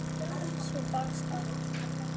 Svar barst og verð fannst.